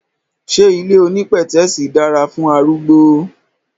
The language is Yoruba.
Ṣé ilé onípẹ̀tẹ́sì dára fún arúgbó?